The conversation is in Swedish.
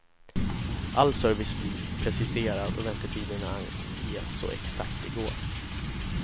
All service blir preciserad och väntetiderna anges så exakt det går.